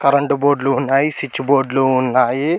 Current board లు ఉన్నాయి switch board లు ఉన్నాయి.